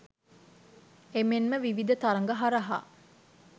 එමෙන්ම විවිධ තරඟ හරහා